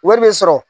Wari bɛ sɔrɔ